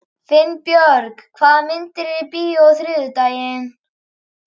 Finnbjörg, hvaða myndir eru í bíó á þriðjudaginn?